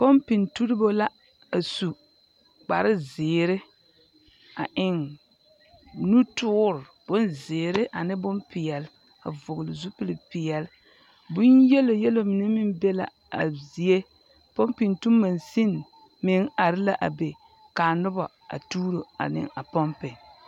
Pɔmpeŋ turibo la asu kpare zeere a eŋ nutoore bonzeere ane bompeɛle a vɔgele zupili peɛle. Bone yelo yelo mine meŋ be la a zie. Pɔmpeŋtu mansiŋ meŋ are la a be. Ka a noba a tuuro ane a pɔmpe.